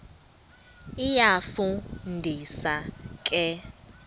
iyafu ndisa ke